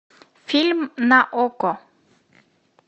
фильм на окко